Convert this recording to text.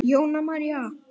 Jóna María.